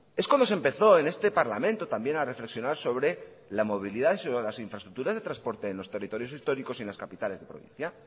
es cuando se empezó en este parlamento también a reflexionar sobre la movilidad y sobre las infraestructuras de transportes en los territorios históricos y en las capitales de provincia